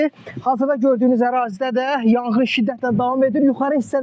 Hazırda gördüyünüz ərazidə də yanğın şiddətlə davam edir.